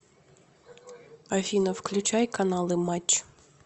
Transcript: афина включай каналы матч